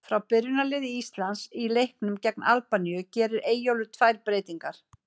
Frá byrjunarliði Íslands í leiknum gegn Albaníu gerir Eyjólfur tvær breytingar.